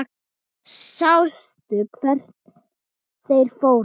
Sástu hvert þeir fóru?